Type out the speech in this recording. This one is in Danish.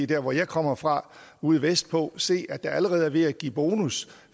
der hvor jeg kommer fra ude vestpå kan se at det allerede er ved at give bonus